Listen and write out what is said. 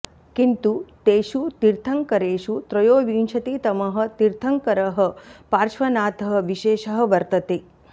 किन्तु तेषु तीर्थङ्करेषु त्रयोविंशतितमः तीर्थङ्करः पार्श्वनाथः विशेषः वर्तते